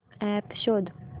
app शोध